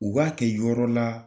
U b'a kɛ yɔrɔ la